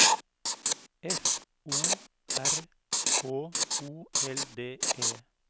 F O R H O L D E